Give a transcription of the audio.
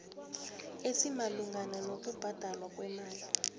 esimalungana nokubhadalwa kwemali